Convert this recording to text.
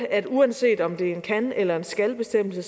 at uanset om det er en kan eller en skal bestemmelse